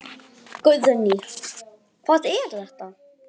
Guðný: Hvað er þetta?